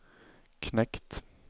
knekt